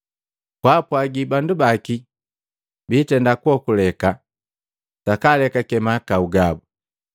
Kwaapwagi bandu baki biitenda kuokuleka, sakaalekake mahakau gabu.